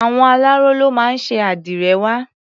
Àwọn aláró ló máa ń ṣe àdìrẹ wa.